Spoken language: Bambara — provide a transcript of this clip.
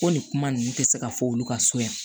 Ko nin kuma ninnu tɛ se ka fɔ olu ka so yan